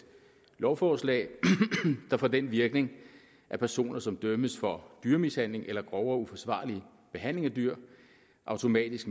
lovforslag der får den virkning at personer som dømmes for dyremishandling eller grovere uforsvarlig behandling af dyr automatisk